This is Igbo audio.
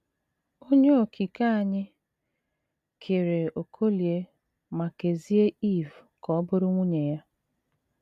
Onye Okike anyị kere Okolie ma kezie Iv ka ọ bụrụ nwunye ya.